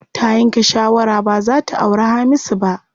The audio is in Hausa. Ta yanke shawara baza ta auri Hamisu ba.